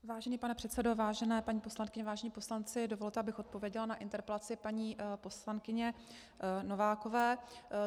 Vážený pane předsedo, vážená paní poslankyně, vážení poslanci, dovolte, abych odpověděla na interpelaci paní poslankyně Novákové.